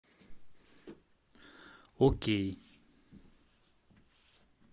окей